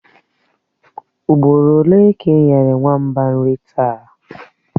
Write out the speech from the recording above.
Ugboro ole ka ị nyere nwamba nri taa?